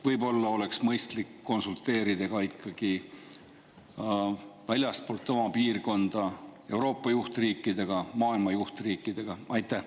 Võib-olla oleks mõistlik konsulteerida ka ikkagi väljaspool oma piirkonda asuvate Euroopa ja maailma juhtriikidega?